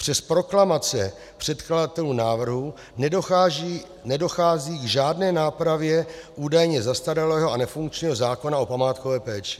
Přes proklamace předkladatelů návrhu nedochází k žádné nápravě údajně zastaralého a nefunkčního zákona o památkové péči.